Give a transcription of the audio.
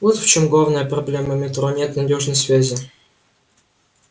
вот в чем главная проблема метро нет надёжной связи